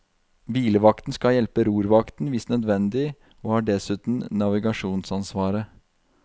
Hvilevakten skal hjelpe rorvakten hvis nødvendig og har dessuten navigasjonsansvaret.